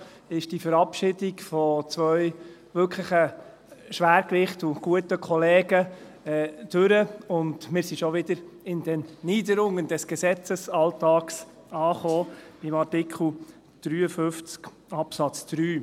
Schon ist die Verabschiedung zweier wirklicher Schwergewichte und guter Kollegen vorüber, und schon sind wir wieder in den Niederungen des Gesetzesalltags angelangt, bei Artikel 53 Absatz 3.